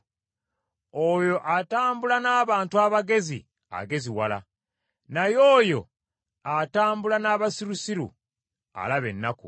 Oyo atambula n’abantu abagezi ageziwala, naye oyo atambula n’abasirusiru alaba ennaku.